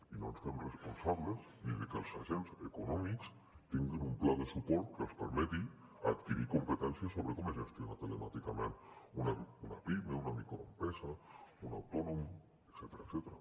i no ens fem responsables ni de que els agents econòmics tinguin un pla de suport que els permeti adquirir competències sobre com es gestiona telemàticament una pime una microempresa un autònom etcètera